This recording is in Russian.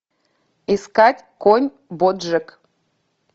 искать конь боджек